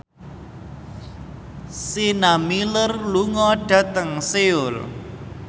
Sienna Miller lunga dhateng Seoul